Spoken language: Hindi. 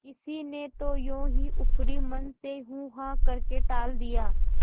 किसी ने तो यों ही ऊपरी मन से हूँहाँ करके टाल दिया